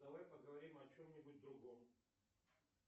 давай поговорим о чем нибудь другом